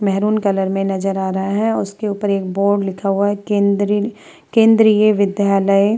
मैहरून colour में नजर आ रहा है और उसके ऊपर में एक बोर्ड लिखा हुआ है केंद्रीय केंद्रीय विद्यालय।